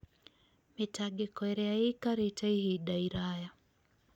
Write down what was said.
mĩtangĩko ĩrĩa ĩikarĩte ihinda iraya